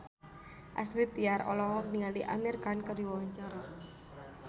Astrid Tiar olohok ningali Amir Khan keur diwawancara